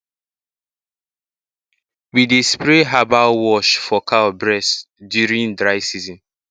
we dey spray herbal wash for cow bress during dry season